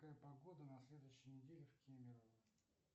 какая погода на следующей неделе в кемерово